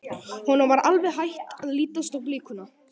Honum var alveg hætt að lítast á blikuna.